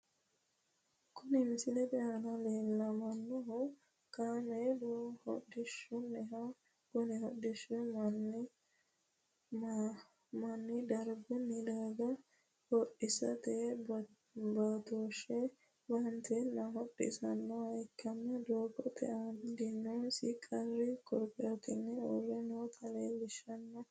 Kunni misilete aanna la'neemohu kaameelu hodhishaati kunni hodhishino manna dargunni darga hodhisate baatooshe baanteenna hodhisanoha ikanna dogoote aanna iilinosi qari korkaatinni uure noota leelishano.